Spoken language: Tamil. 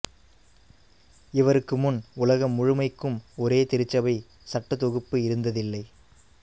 இவருக்கு முன் உலகம் முழுமைக்கும் ஒரே திருச்சபை சட்டத்தொகுப்பு இருந்ததில்லை